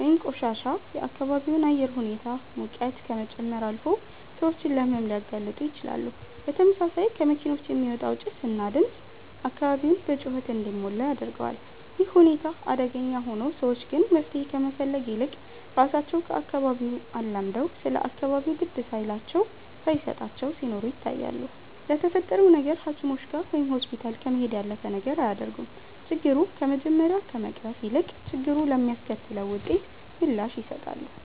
ወይንም ቆሻሻ የአካባቢውን አየር ሁኔታ ሙቀት ከመጨመር አልፎ ሰዎችን ለሕመም ሊያጋልጡ ይችላሉ። በተመሳሳይ ከመኪኖች የሚወጣው ጭስ እና ድምፅ አካባቢውን በጩኸት እንዲሞላ ያደርገዋል። ይህ ሁኔታ አደገኛ ሆኖ፣ ሰዎች ግን መፍትሄ ከመፈለግ ይልቅ ራሳቸው ከአካባቢው አላምደው ስለ አካባቢው ግድ ሳይላቸው ሳየሰጣቸው ሲኖሩ ይታያሉ። ለተፈጠረው ነገር ሃኪሞችጋ ወይም ሆስፒታል ከመሄድ ያለፈ ነገር አያደርጉም። ችግሩ ከመጀመሪያ ከመቅረፍ ይልቅ፣ ችግሩ ለሚያስከትለው ውጤት ምላሽ ይሰጣሉ